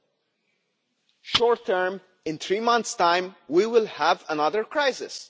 In the short term, in three months' time, we will have another crisis.